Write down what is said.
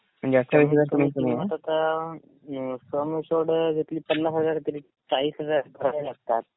कमीत कमी किंमत आता तीस पन्नास हजार तरी चाळीस हजार भरावे लागतात.